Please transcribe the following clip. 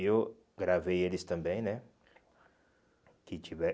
E eu gravei eles também, né? Que